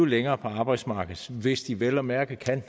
længere på arbejdsmarkedet hvis de vel at mærke kan